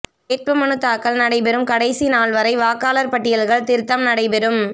வேட்புமனு தாக்கல் நடைபெறும் கடைசி நாள்வரை வாக்காளர் பட்டியல்கள் திருத்தம் நடைபெறும்